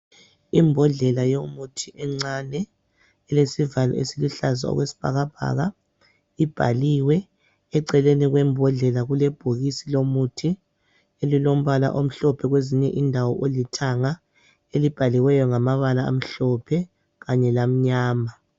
Imbodlela yomuthi encane ilesivalo esiluhlaza okwesibhakabhaka ibhaliwe. Eceleni kwembodlela kule bhokisi lomuthi elilombala omhlophe kwezinye indawo olithanga elibhaliweyo ngamabala amhlophe kanye lamnyama.